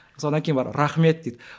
солдан кейін барып рахмет дейді